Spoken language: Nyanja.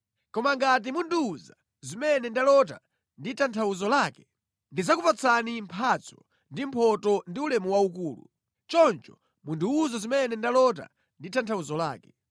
Koma ngati mundiwuza zimene ndalota ndi tanthauzo lake, ndidzakupatsani mphatso ndi mphotho ndi ulemu waukulu. Choncho mundiwuze zimene ndalota ndi tanthauzo lake.”